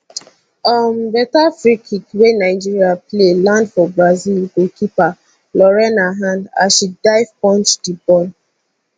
um beta free kick wey nigeria play land for brazil goalkeeper lorena hand as she dive punch di ball